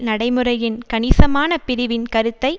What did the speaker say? நடைமுறையின் கணிசமான பிரிவின் கருத்தை